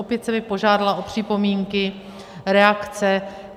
Opět jsem je požádala o připomínky, reakce.